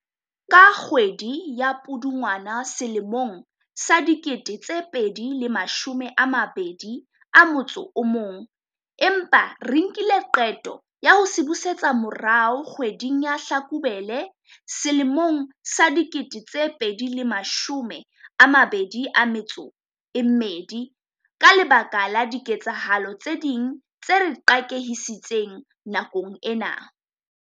ka kgwedi ya Pudungwana selemong sa 2021, empa re nkile qeto ya ho se busetsa morao kgwe ding ya Hlakubele sele mong sa 2022 ka lebaka la diketsahalo tse ding tse re qakehisitseng nakong ena.